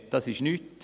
Das ist nichts.